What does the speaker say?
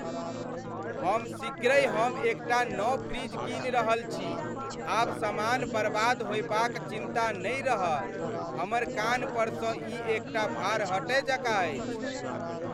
हम शीघ्रहि हम एक टा नव फ्रिज कीनि रहल छी। आब समान बर्बाद होयबाक चिन्ता नहि रहत। हमर कान्हपरसँ ई एक टा भार हटय जकाँ अछि।